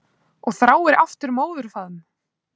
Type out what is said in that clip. Og þráir aftur móðurfaðm.